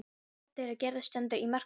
Samband þeirra Gerðar stendur í mörg ár.